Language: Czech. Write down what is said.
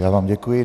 Já vám děkuji.